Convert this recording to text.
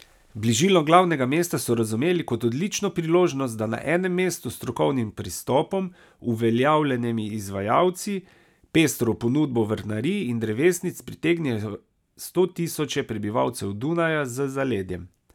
Bližino glavnega mesta so razumeli kot odlično priložnost, da na enem mestu s strokovnim pristopom, uveljavljenimi izvajalci, pestro ponudbo vrtnarij in drevesnic pritegnejo stotisoče prebivalcev Dunaja z zaledjem.